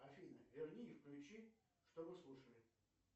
афина верни и включи что мы слушали